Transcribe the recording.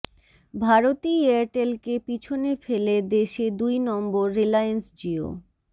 ভারতী এয়ারটেলকে পিছনে ফেলে দেশে দুই নম্বর রিলায়েন্স জিও